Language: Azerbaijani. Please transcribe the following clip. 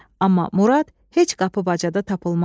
Amma Murad heç qapı-bacada tapılmazdı.